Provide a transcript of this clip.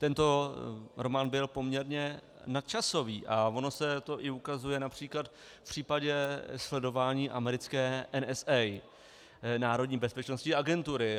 Tento román byl poměrně nadčasový a ono se to i ukazuje například v případě sledování americké NSA, Národní bezpečnostní agentury.